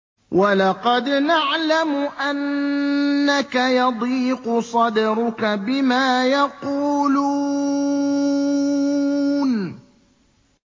وَلَقَدْ نَعْلَمُ أَنَّكَ يَضِيقُ صَدْرُكَ بِمَا يَقُولُونَ